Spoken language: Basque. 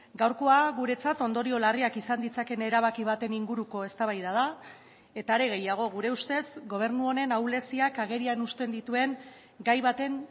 gaurkoa guretzat ondorio larriak izan ditzakeen erabaki baten inguruko eztabaida da eta are gehiago gure ustez gobernu honen ahuleziak agerian uzten dituen gai baten